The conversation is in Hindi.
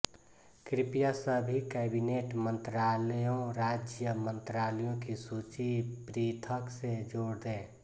कृप्या सभी कैबिनेट मंत्रालयों राज्य मंत्रालय की सूची पृथक से जोड दे